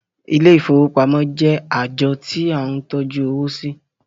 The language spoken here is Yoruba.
Ilé ìfowópamọ́ jẹ́ ààjọ tí à ń tọ́jú owó sí.